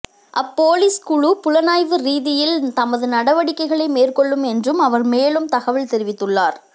அப் police குழு புலனாய்வு ரீதியில் தமது நடவடிக்கைகளை மேற்கொள்ளும் என்றும் அவர் மேலும் தகவல் தெரிவித்துள்ளார்